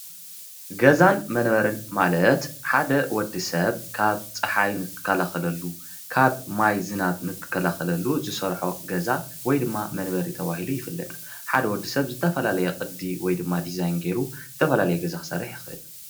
ገዛን መንበርን ማለት ሓደ ወድሰብ ካብ ፅሓይ ንኽከላኸለሉ ካብ ማይ ዝናብ ንክከላኸለሉ ዝሰርሖ ገዛ ወይ ድማ መንበሪ ተባሂሉ ይፍለጥ፡፡ ሓደ ወድሰብ ዝተፈላለየ ቅዲ ወይ ድማ ዲዛይን ጌሩ ዝተፈላለየ ገዛ ክሰርሕ ይኽእል፡፡